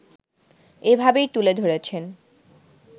এভাবেই তুলে ধরেছেন